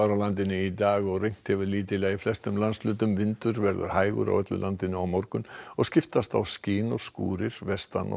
landinu í dag og rignt hefur lítillega í flestum landshlutum vindur verður hægur á öllu landinu á morgun og skiptast á skin og skúrir vestan og